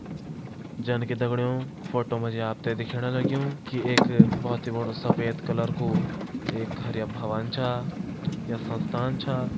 जनकि दगड़ियों फोटो मा जी आप तें दिखेण लग्युं कि एक बहोत ही बड़ु सफ़ेद कलर कू एक हरया भवन छा या संस्थान छा।